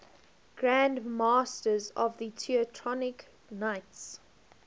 grand masters of the teutonic knights